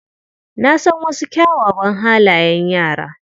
Na san wasu kyawawan halayen yara.